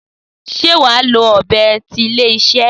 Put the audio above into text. Sé wàá lò ọ̀bẹ ti ilé iṣé?